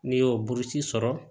N'i y'o burusi sɔrɔ